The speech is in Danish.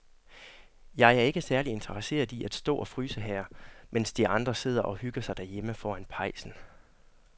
Jeg er ikke særlig interesseret i at stå og fryse her, mens de andre sidder og hygger sig derhjemme foran pejsen.